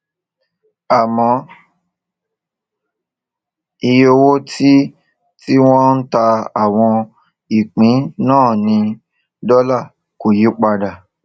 àmọ iye owó tí tí wọn ń ta àwọn ìpín náà ní dólà kò yí padà